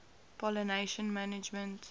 pollination management